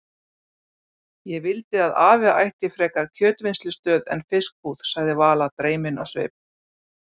Ég vildi að afi ætti frekar kjötvinnslustöð en fiskbúð sagði Vala dreymin á svip.